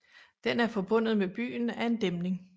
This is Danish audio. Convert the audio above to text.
Den er forbundet med byen af en dæmning